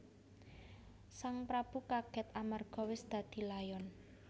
Sang prabu kagèt amarga wis dadi layon